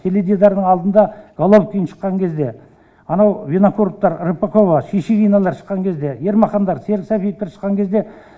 теледидардың алдында головкин шыққан кезде анау винокуровтар рыпакова шишигиналар шыққан кезде ермахандар серік сәпиевтер шыққан кезде